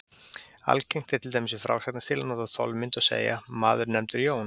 Algengt er, til dæmis í frásagnarstíl, að nota þolmynd og segja: Maður er nefndur Jón.